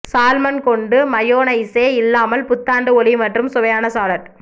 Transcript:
salmon கொண்டு mayonnaise இல்லாமல் புத்தாண்டு ஒளி மற்றும் சுவையான சாலட்